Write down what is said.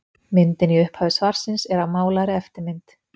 Myndin í upphafi svarsins er af málaðri eftirmynd.